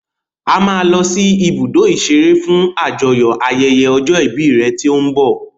A máa lọ sí ibùdó ìṣeré fún àjọyò ayẹyẹ ọjọ́ ìbí rẹ tí ó ń bọ̀.